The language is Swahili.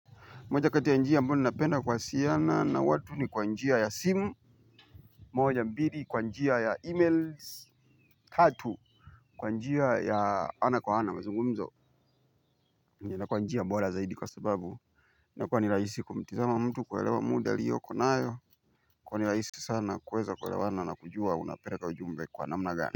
Moja kati ya njia ambayo ninapenda kuwasiana na watu ni kwa njia ya simu moja mbili kwa njia ya emails tatu. Kwa njia ya ana kwa ana mazungumzo. Na kwa njia bora zaidi kwa sababu na kua ni rahisi kumtizama mtu kuelewa muda aliyoko nayo. Kuwa nilaisi sana kuweza kuelewana na kujua unapereka ujumbe kwa namnagani.